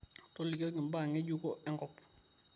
tolikioki mbaa ngejuko enkop